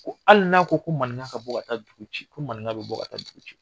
Ko hali n'a ko ko maninka ka bɔ ka taa dugu ci, ko maninka bɛ bɔ ka taa dugu ci.